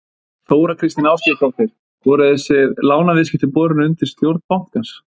Þóra Kristín Ásgeirsdóttir: Voru þessi lánaviðskipti borin undir stjórn bankans?